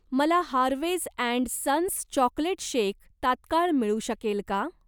मला Harveys and sons chocolate shake तात्काळ मिळू शकेल का?